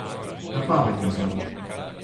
Na pamet ga znam.